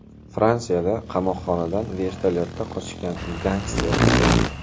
Fransiyada qamoqxonadan vertolyotda qochgan gangster ushlandi.